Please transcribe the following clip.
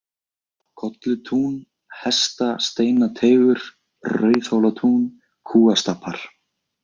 Kollutún, Hestasteinateigur, Rauðhólatún, Kúastapar